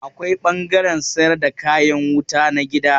Akwai ɓangaren sayar da kayan wuta na gida.